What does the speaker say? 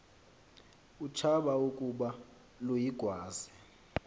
utshaba ukuba luyigwaze